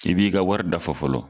I b'i ka wari da fɔ fɔlɔ